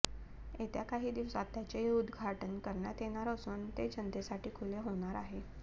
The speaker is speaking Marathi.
येत्या काही दिवसात त्याचे उद्घाटन करण्यात येणार असून ते जनतेसाठी खुले होणार आहे